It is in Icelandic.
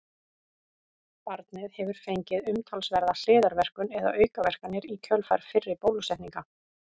Barnið hefur fengið umtalsverða hliðarverkun eða aukaverkanir í kjölfar fyrri bólusetninga.